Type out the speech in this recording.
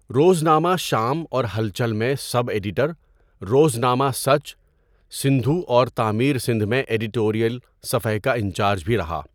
روزنامہ شام اور ہلچل میں سب ایڈیٹر، روزنامہ سچ، سندھو اور تعمیر سندھ میں ایڈیٹوریل صفحہ کا انچارج بھی رها.